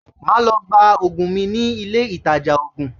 Màá lọ gba ògùn mi ní ilé ìtajà ògùn